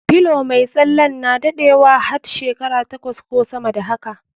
Pillow mai tsalen na daɗewa hat shekara takwas ko sama da haka.